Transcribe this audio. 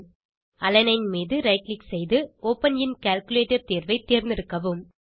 alanine மீது right click செய்து open in calculator தேர்வை தேர்ந்தெடுக்கவும்